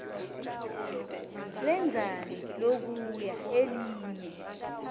lenzani lokhuya elinye